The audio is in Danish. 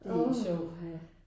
Uha